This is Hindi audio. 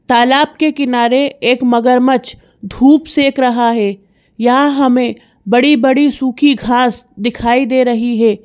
तालाब के किनारे एक मगरमच्छ धूप सेक रहा है यहां हमें बड़ी-बड़ी सूखी घास दिखाई दे रही है।